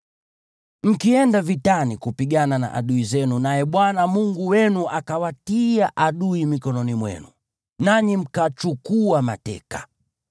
Mkienda vitani kupigana na adui zenu naye Bwana Mungu wenu akawatia adui mikononi mwenu, nanyi mkachukua mateka,